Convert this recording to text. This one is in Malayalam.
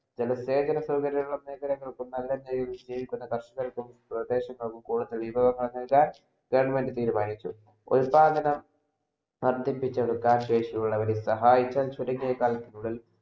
ജന സേവന സൗകര്യ മേഖലാങ്ങ ൾക്കും കർഷകർക്കും സ്വദേശങ്ങളും കുറഞ്ഞ വിഭവങ്ങൾ നല്കാൻ government തീരുമാനിച്ചു ഉത്പാതനം നടത്തിപ്പിച്ചെടുക്കാൻ ശേഷിയുള്ളവരെ സഹായിക്കാൻ